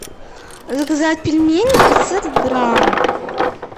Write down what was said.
заказать пельмени пятьсот грамм